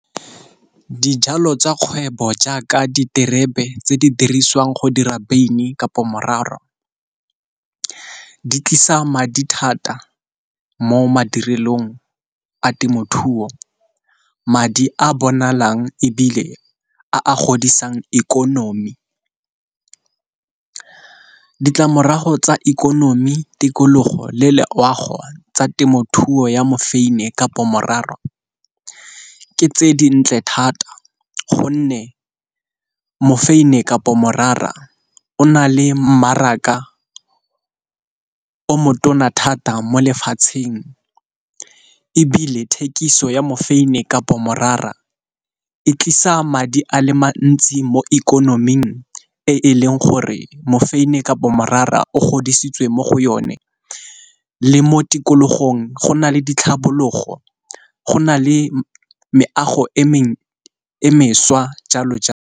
Dijalo tsa kgwebo jaaka diterebe tse di dirisiwang go dira beine kapo morara, di tlisa madi thata mo madirelong a temothuo. Madi a bonalang ebile a a godisang ikonomi. Ditlamorago tsa ikonomi, tikologo, le loago tsa temothuo ya mofeini kapo morara, ke tse di ntle thata gonne mofeini kapo morara o na le mmaraka o motona thata mo lefatsheng. Ebile thekiso ya mofeini kapo morara e tlisa madi a le mantsi mo ikonoming e leng gore mofeini kapo morara o godisitsweng mo go yone, le mo tikologong go na le ditlhabologo go na le meago e e mešwa jalo .